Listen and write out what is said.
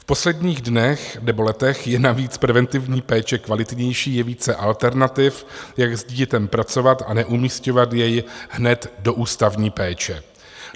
V posledních dnech nebo letech je navíc preventivní péče kvalitnější, je více alternativ, jak s dítětem pracovat a neumisťovat jej hned do ústavní péče.